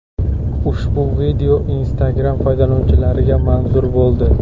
Ushbu video Instagram foydalanuvchilariga manzur bo‘ldi.